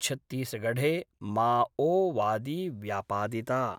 छत्तीसगढ़े माओवादी व्यापादिता